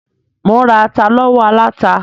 Mò ń ra ata lọ́wọ́ aláta.